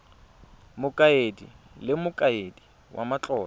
mokaedi le mokaedi wa matlotlo